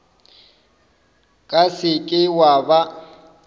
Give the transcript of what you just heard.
ka se ke wa ba